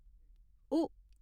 उ